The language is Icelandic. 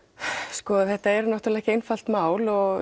sko þetta er náttúrulega ekki einfalt mál og